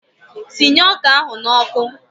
Sinye ọka ahụ n'ọkụ!